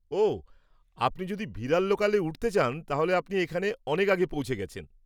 ওহ, আপনি যদি ভিরার লোকালে উঠতে চান তাহলে আপনি এখানে অনেক আগে পৌঁছে গেছেন।